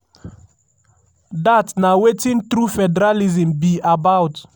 dat na wetin true federalism be about."